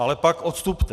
Ale pak odstupte.